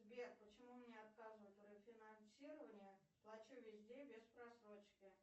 сбер почему мне отказывают в рефинансирование плачу везде без просрочки